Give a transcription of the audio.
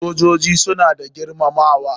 Sojoji suna da girmamawa.